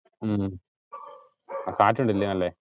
ഉം കാറ്റ് ഉണ്ട് ഇല്ലിയോ നല്ല്?